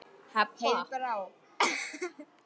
Heiðbrá, ekki fórstu með þeim?